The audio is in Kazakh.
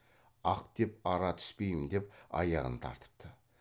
ақ деп ара түспеймін деп аяғын тартыпты